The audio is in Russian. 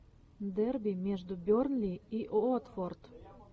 дерби между бернли и уотфорд